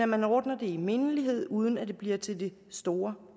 man ordner det i mindelighed uden at det bliver til det store